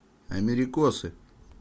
америкосы